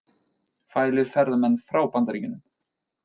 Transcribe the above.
Fælir ferðamenn frá Bandaríkjunum